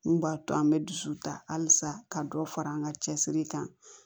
Mun b'a to an bɛ dusu ta halisa ka dɔ fara an ka cɛsiri kan